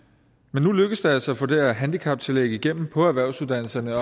men nu lykkedes det altså at få det her handicaptillæg igennem på erhvervsuddannelserne